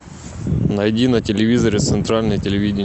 найди на телевизоре центральное телевидение